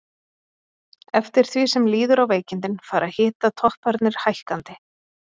Eftir því sem líður á veikindin fara hitatopparnir hækkandi.